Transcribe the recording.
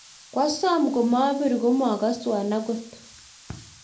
koasom komabir kumakaswon akot